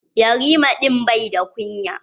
Yarima din bai da kunya.